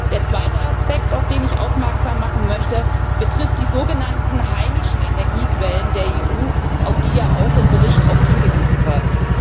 Der zweite Aspekt, auf den ich aufmerksam machen möchte, betrifft die sogenannten heimischen Energiequellen der EU, auf die ja im Bericht oft hingewiesen wird.